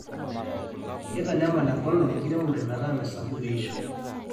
kitanyamal enkolong enkiemore metaa mesapuku eishoi